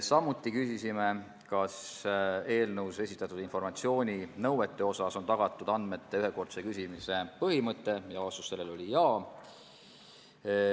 Samuti küsisime, kas eelnõuga ette nähtud informatsiooninõuete puhul on tagatud andmete ühekordse küsimise põhimõte, ja vastus sellele oli "jaa".